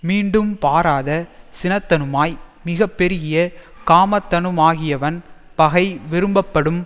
மீண்டும் பாராத சினத்தனுமாய் மிகப்பெருகிய காமத்தனுமாகியவன் பகை விரும்பப்படும்